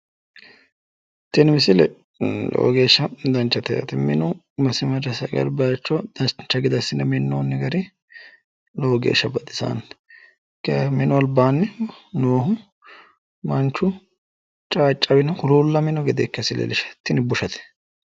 Tini misile lowo geeshsha danachate yaate, minu masimarese agare baayicho dancha gede assi'ne minnoonni gari lowo geeshsha baxisanno, kayiinni minu albaanni noohu manchu caaccawino huluullamino tini bushate